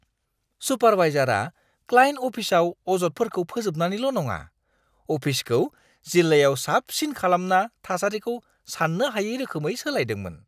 सुपारवाइजारआ client अफिसआव अजदफोरखौ फोजोबनानैल' नङा, अफिसखौ जिल्लायाव साबसिन खालामना थासारिखौ सान्नो हायै रोखोमै सोलायदोंमोन।